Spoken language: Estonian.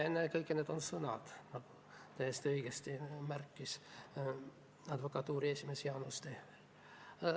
Ennekõike on need sõnad, nagu täiesti õigesti märkis advokatuuri esimees Jaanus Tehver.